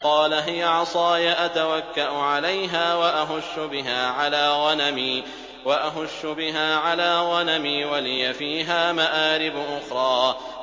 قَالَ هِيَ عَصَايَ أَتَوَكَّأُ عَلَيْهَا وَأَهُشُّ بِهَا عَلَىٰ غَنَمِي وَلِيَ فِيهَا مَآرِبُ أُخْرَىٰ